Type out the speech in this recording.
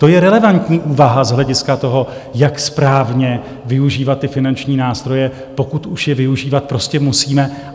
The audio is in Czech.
To je relevantní úvaha z hlediska toho, jak správně využívat ty finanční nástroje, pokud už je využívat prostě musíme.